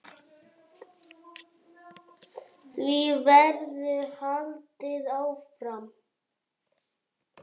Því verður haldið áfram.